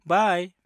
बाइ!